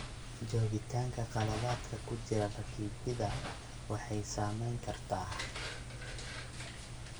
Joogitaanka khaladaadka ku jira rakibidda waxay saameyn kartaa.